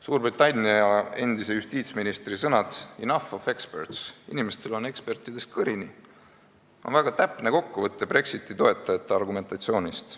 Suurbritannia endise justiitsministri sõnad enough of experts on väga täpne kokkuvõte Brexiti toetajate argumentatsioonist.